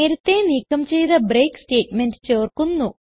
നേരത്തേ നീക്കം ചെയ്ത ബ്രേക്ക് സ്റ്റേറ്റ്മെന്റ് ചേർക്കുന്നു